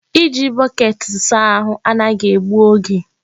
Iji bọket saa ahụ anaghị egbu oge.